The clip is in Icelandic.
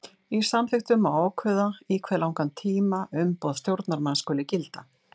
Í samþykktum má ákveða í hve langan tíma umboð stjórnarmanns skuli gilda.